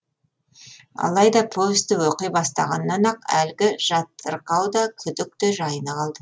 алайда повесті оқи бастағаннан ақ әлгі жатырқау да күдік те жайына қалды